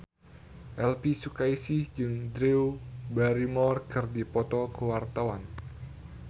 Elvy Sukaesih jeung Drew Barrymore keur dipoto ku wartawan